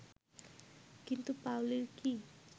কিন্তু পাওলীর কি